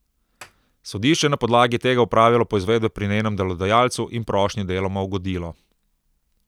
Sodišče je na podlagi tega opravilo poizvedbe pri njenem delodajalcu in prošnji deloma ugodilo.